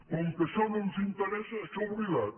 com que això no ens interessa això oblidat